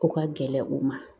O ka gɛlɛn u ma